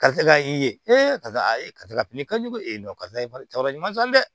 Karisa ka i ye karisa ye karisa bin ka jugu karisa wɛrɛ ɲuman sɔn dɛ